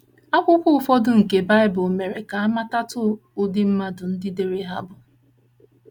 Akwụkwọ ụfọdụ nke Baịbụl mere ka a matatụ ụdị mmadụ ndị dere ha bụ.